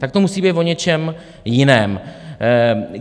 Tak to musí být o něčem jiném.